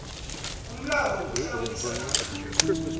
umlayo wokuhlawulisa namkha